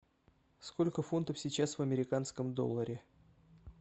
сколько фунтов сейчас в американском долларе